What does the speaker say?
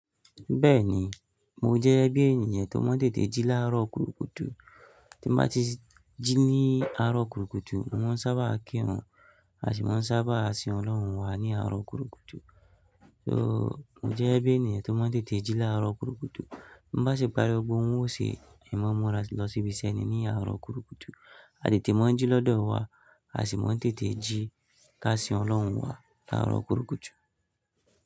Bẹ́ẹ̀ni, mo jẹ́ bí ènìyàn tó maa n tètè jí láàárọ̀ kutukùtù. Tí nbá ti jí ní àárọ̀ kutukùtù, mọ ma n sábà á kí run, a sì máa sábà a sin Ọlọ́run wa ní àárọ̀ kurukùtù. So mo jẹ́ bí ènìyàn tó maa n tètè jí láàárọ̀ kutukùtù. Bá ṣe pàrí ogbogbo ọn ó ṣe ì maa n múra lọ síbi ise ní àárọ̀ kutukùtù. A tètè máa ń jí lọ́dọ̀ wa, a sì máa ń tètè jí ká sin Ọlọ́run wa láàárọ̀ kutukùtù.